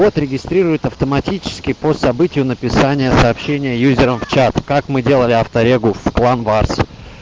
от регистрирует автоматически по событию написания сообщения юзером в чат как мы делали авто регистрацию в план вас